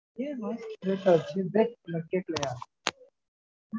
கேக்கலயா